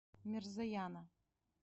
мирзояна